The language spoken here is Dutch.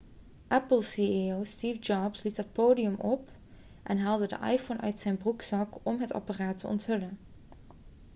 apple ceo steve jobs liep het podium op en haalde de iphone uit zijn broekzak om het apparaat te onthullen